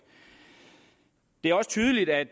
det er også tydeligt at